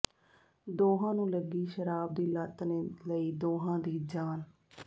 ਦੋਹਾਂ ਨੂੰ ਲੱਗੀ ਸ਼ਰਾਬ ਦੀ ਲਤ ਨੇ ਲਈ ਦੋਹਾਂ ਦੀ ਜਾਨ